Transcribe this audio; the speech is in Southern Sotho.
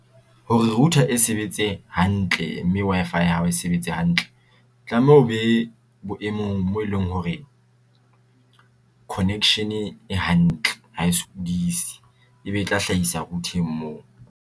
Hore router e sebetse hantle, mme Wi-Fi ya hao e sebetse hantle, tlameha ho be boemong mo eleng hore connection e hantle ha e sokudise e be e tla hlahisa router-eng mo.